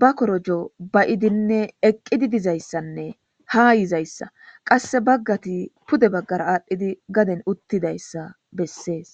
ba korojo bayidinne eqqidi dizayssanne ha yizayssa qasse baggati pude baggara aadhdhidi gaden uttidayssa bessees